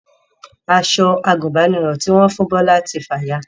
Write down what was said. Aṣọ àgùnbánirọ̀ tí wọ́n fún Bọlá ti fàya